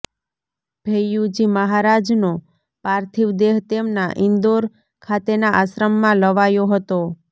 ભૈય્યુજી મહારાજનો પાર્થીવ દેહ તેમના ઇંદોર ખાતેના આશ્રમમાં લવાયો હતો